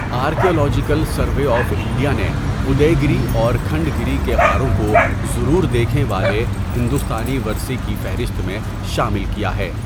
Archaeological Survey of India نے Udayagiri اور کھنڈگیری کے غاروں کو 'ضرور دیکھیں' والے ہندوستانی ورثے کی فہرست میں شامل کیا ہے۔